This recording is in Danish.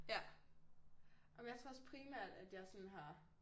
Ja om jeg tror også primært at jeg sådan har